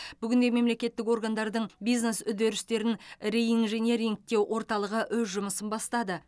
бүгінде мемлекеттік органдардың бизнес үдерістерін реинжинирингтеу орталығы өз жұмысын бастады